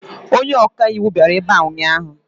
Onye ọka iwu bịara ebe a ụnyaahụ.